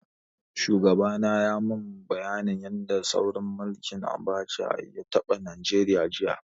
Shugaba na yayi mun bayanin yanda tsaurin mulkin Abacha ya taɓa Nigeria, jiya.